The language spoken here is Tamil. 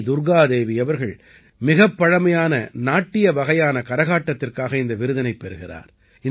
வீ துர்க்கா தேவி அவர்கள் மிகப் பழமையான நாட்டிய வகையான கரகாட்டத்திற்காக இந்த விருதினைப் பெறுகிறார்